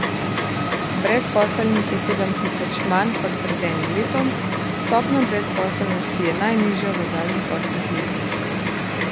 Brezposelnih je sedem tisoč manj kot pred enim letom, stopnja brezposelnosti je najnižja v zadnjih osmih letih.